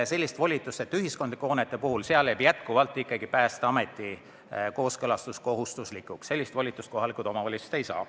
Ühiskondlike hoonete puhul jääb ikkagi Päästeameti kooskõlastus kohustuslikuks, sellist volitust kohalikud omavalitsused ei saa.